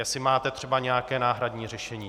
Jestli máte třeba nějaké náhradní řešení.